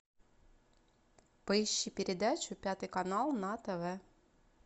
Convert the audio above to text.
поищи передачу пятый канал на тв